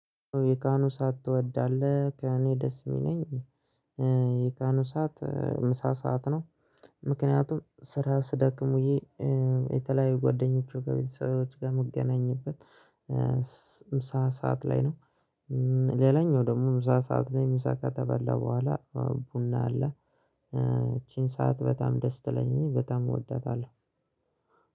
የቀኑ ሰዓት ትወዳለህ ከእኔ ደስ የሚለኝ የቀኑ ሰዓት ምሳ ሰዓት ነው። ምክንያቱም ስራ ስደክሙኝ የተለያዩ ጓደኞቹ ከቤተሰቦቻችን ጋር መገናኘበት። ምሳ ሰዓት ላይ ነው። ሌላኛው ደግሞ ምሳ ሰዓት ላይ ምሳ ከተበላ በኋላ ቡና አለ። ይቺን ሰዓት በጣም ደስ ትለኛለህ በጣም እወዳታለሁ።